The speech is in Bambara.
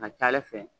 A ka ca ala fɛ